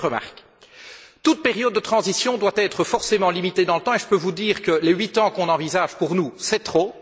Deuxième remarque toute période de transition doit être forcément limitée dans le temps et je peux vous dire que les huit ans qu'on envisage pour nous, c'est trop.